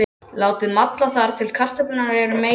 Látið malla þar til kartöflurnar eru meyrar.